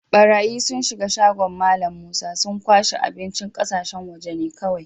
Barayyi sun shiga shagon Mallam Musa, sun kwashe abincin ƙasashen waje ne kowai.